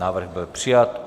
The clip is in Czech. Návrh byl přijat.